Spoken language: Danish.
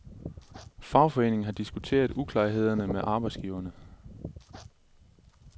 Fagforeningen har diskuteret uklarhederne med arbejdsgiverne.